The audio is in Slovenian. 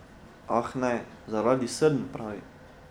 Ah, ne, zaradi srn, pravi.